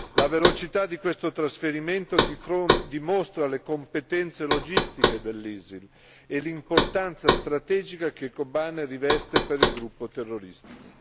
La velocità di questo trasferimento dimostra le competenze logistiche dell'ISIS e l'importanza strategica che Kobane riveste per il gruppo terroristico.